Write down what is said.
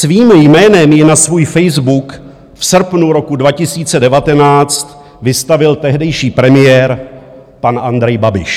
Svým jménem ji na svůj Facebook v srpnu roku 2019 vystavil tehdejší premiér pan Andrej Babiš.